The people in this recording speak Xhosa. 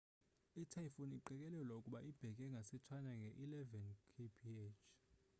i typhoon iqikelelwa ukuba ibheka ngase china nge eleven kph